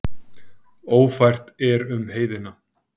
Ófært er um heiðina.